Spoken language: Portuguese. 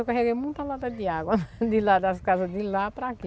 Eu carreguei muita lata de água de lá das casas, de lá para aqui.